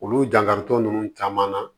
Olu jankaritɔ ninnu caman na